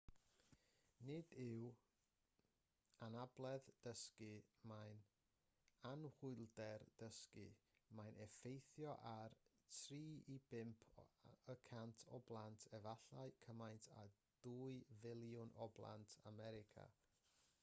nid yw'n anabledd dysgu mae'n anhwylder dysgu mae'n effeithio ar 3 i 5 y cant o blant efallai cymaint â 2 filiwn o blant america